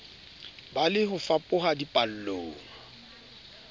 be le ho fapoha dipallong